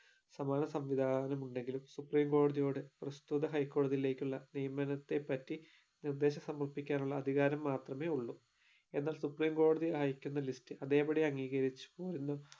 സമാന സംവിധാനം ഉണ്ടെങ്കിലും supreme കോടതിയോട് പ്രസ്തുത high കോടതിയിലേക്കുള്ള നിയമനത്തെ പറ്റി നിർദ്ദേശം സമർപ്പിക്കാനുള്ള അധികാരം മാത്രമേ ഉള്ളു എന്നാൽ supreme കോടതി അയക്കുന്ന list അതെ പടി അംഗീകരിച്ചോ എന്ന്